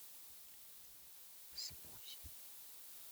смузи